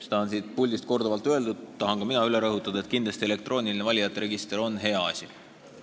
Seda on siit puldist korduvalt öeldud ja tahan ka mina rõhutada, et elektrooniline valijate register on kindlasti hea asi.